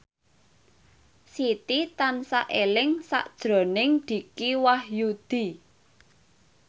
Siti tansah eling sakjroning Dicky Wahyudi